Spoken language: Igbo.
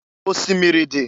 Osimiri dị.